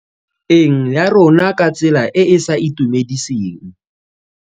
Eng ya rona ka tsela e e sa itumediseng.